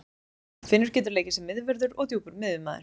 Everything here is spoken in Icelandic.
Finnur getur leikið sem miðvörður og djúpur miðjumaður.